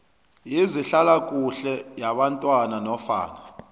wezehlalakuhle yabantwana nofana